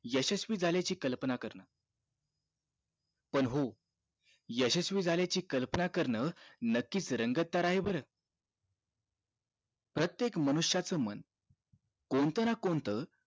यशस्वी झाल्याची कल्पना करण पण हो यशस्वी झाल्याची कल्पना करण नक्कीच रंगतदार आहे बर प्रत्येक मनुष्यच मन कोणतं ना कोणत